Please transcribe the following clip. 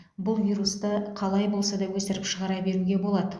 бұл вирусты қалай болса да өсіріп шығара беруге болады